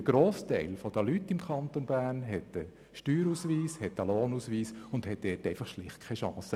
Der grosse Teil der Leute im Kanton Bern hat einen Steuer- und einen Lohnausweis und hat diesbezüglich schlicht keine Chance.